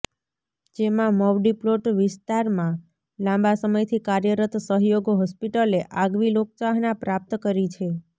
જેમાં મવડી પ્લોટ વિસ્તારમાં લાંબા સમયથી કાર્યરત સહયોગ હોસ્પિટલે આગવી લોકચાહના પ્રાપ્ત કરી છે